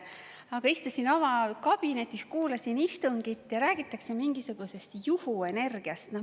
Aga istusin oma kabinetis, kuulasin istungit ja räägitakse mingisugusest juhuenergiast.